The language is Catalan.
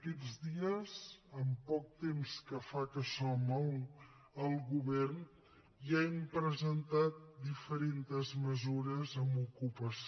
aquests dies en poc temps que fa que som al govern ja hem presentat diferents mesures en ocupació